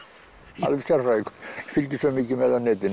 alveg sérfræðingur fylgist svo mikið með á netinu